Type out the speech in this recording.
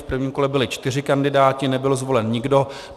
V prvním kole byli čtyři kandidáti, nebyl zvolen nikdo.